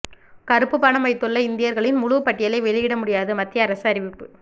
கருப்பு பணம் வைத்துள்ள இந்தியர்களின் முழுப் பட்டியலை வெளியிட முடியாது மத்திய அரசு அறிவிப்பு